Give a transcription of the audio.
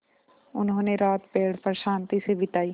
उन्होंने रात पेड़ पर शान्ति से बिताई